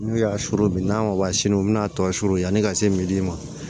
N'u y'a suru n'a ma bɔ sini u bi n'a tɔ suru yani ka se ma